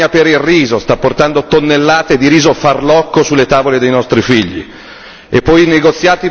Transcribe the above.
l'accordo con la Birmania per il riso sta portando tonnellate di riso farlocco sulle tavole dei nostri figli.